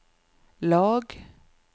lag